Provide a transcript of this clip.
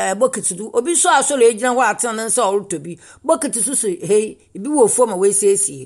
ɛɛ bokiti do. Obi nso asɔre agyina hɔ atene ne nsa a ɔretɔ bi. Bokiti nso si ha yi, ebi wɔ fam a wɔasiesie.